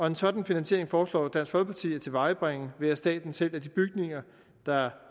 en sådan finansiering foreslår dansk folkeparti at tilvejebringe ved at staten sælger de bygninger der